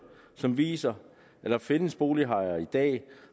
som viser at der findes bolighajer i dag